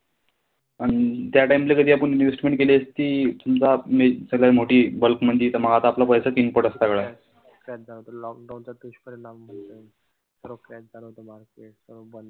त्यांच्यावर lockdown चा दुष्परिणाम होता. पूर crash झालं होत market सर्व बंद.